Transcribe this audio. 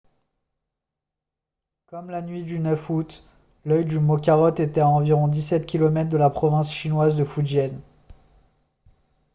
comme la nuit du 9 août l'œil du mokarot était à environ 17 km de la province chinoise de fujian